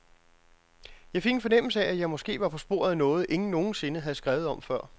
Jeg fik en fornemmelse af, at jeg måske var på sporet af noget, ingen nogen sinde havde skrevet om før.